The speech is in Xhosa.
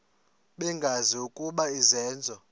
bengazi ukuba izenzo